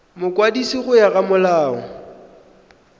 mokwadisi go ya ka molao